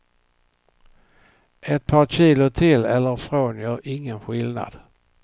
Ett par kilo till eller från gör ingen skillnad.